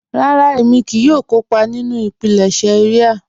Rárà, ẹ̀mí kíì yóò kọ́pà nínu ìpílẹ̀ṣẹ̀ ìria.